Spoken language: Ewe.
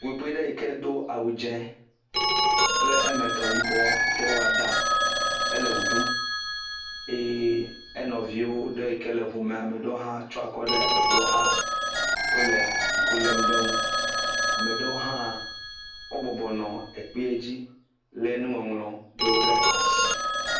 …ɖewo yike do awu dze kple eme tɔ yibɔ yika wɔ da, ele wɔ ɖum eye enɔvio yike tsyɔ akɔ ɖe eŋua xa, wole ŋku lém ɖe ŋu, ame ɖewo hã wo bɔbɔ nɔ ekpee dzi lé nuŋɔŋlɔ ɖewo ɖe asi.